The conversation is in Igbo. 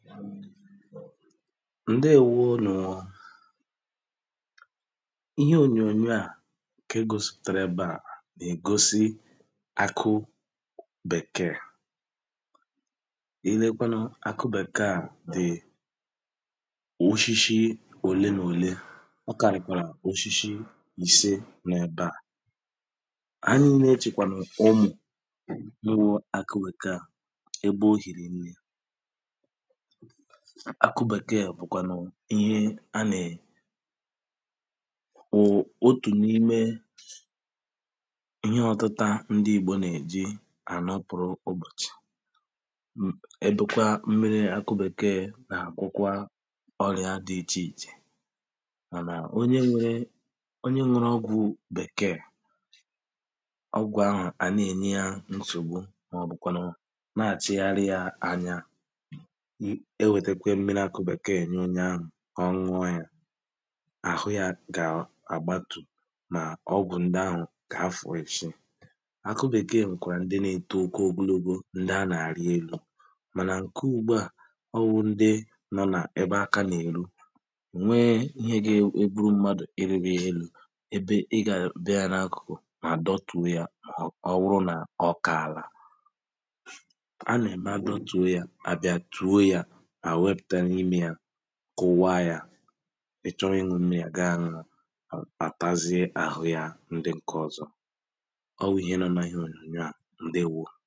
ǹdeēwonuōō ihe ònyònyò a ǹke gosìpụ̀tàrà ebe à nà-ègosi akụ bèkee ilekwanụ akụ bèkee a dị wushishi òle n’òle ọkàrị̀kwàrà wushishi ìse nọ̄ n’ebā anyị niinē chị̀kwàlụ̀ ụmụ̀ ịghọ̄ akụ bèkee a ebe o hìri nnē akụ bèkee bụ kwanụ ihe há nè ò otù n’ime ihe ọ̀tụta ndi igbò nà-èji ànọpụ̀rụ ụbọ̀chị̀ m̄ èdókʷá ḿmírí ákʊ́ bèkeé nà gwọkwa ọrịā dị ichè ichè mànà onye nwere onye nwụrụ ọgwụ̄ bèkee ọgwụ̀ ahụ̀ à na-ènye yā nsògbu mà ọ̀bụ̀ kwànụ̀ nà àchịgharịā ányá ewètekwe mmiri akụ bèkee nye onye ā kà ọ ṇ̇ụ̀ọ yā àhụ yā gà àgbatụ̀ nà ọgwụ̀ ndi ahụ̀ kà ha fụ̀ọ ichi akụ bèkee nwèkwà ndi na-eto ogologo ndi ā nà-àrielū mànà ǹke ụ̀gbụa ọwụ̀ ndi nọ nā ebe aka nà-èru nwe ihe gà-egburu mmadụ̀ irī gō elū ebe ị gà àbịa n’akụ̀kù à dọtùo yā ọ ọ wụ nà ọ kàlà a nà-ème ha dọtùo yā hà bia tuo yā hà wepùta niimē yā kụ̀wa yā ịchọ ịṅụ̄ mmiri yā ga ṅụ̀ọ àtazie àhụ yā ndi ǹke ọzọ̄ ɔ́ wʊ̀ íɦé nɔ́ nà íɦé òɲòɲò á ǹdéwō